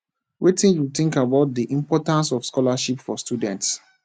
wetin you think about about di importance of scholarships for students